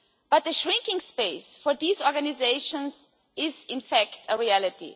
But the shrinking space for these organisations is in fact a reality.